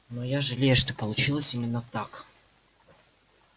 но я жалею что получилось именно так